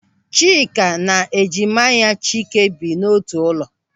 Chika na ejima ya Chike bi n'otu ụlọ.